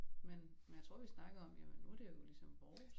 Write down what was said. Men men jeg tror vi snakkede om jamen nu det jo ligesom vores